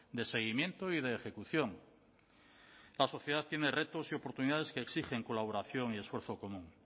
de seguimiento y de ejecución la sociedad tiene retos y oportunidades que exigen colaboración y esfuerzo común